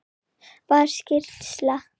Var skýrsla